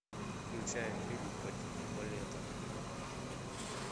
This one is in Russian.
включай фильм по типу балета